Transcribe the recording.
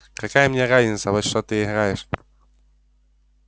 какая мне разница во что ты играешь